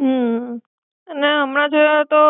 હમ ને એમના જોયા તો,